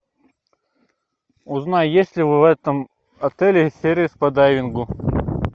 узнай есть ли в этом отеле сервис по дайвингу